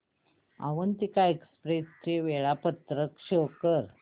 Avantika express चे वेळापत्रक show कर